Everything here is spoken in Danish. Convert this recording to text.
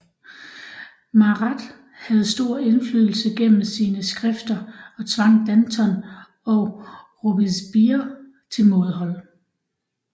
Marat havde stor indflydelse gennem sine skrifter og tvang Danton og Robespierre til mådehold